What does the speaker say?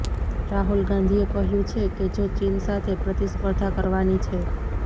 રાહુલ ગાંધીએ કહ્યુ છે કે જો ચીન સાથે પ્રતિસ્પર્ધા કરવાની છે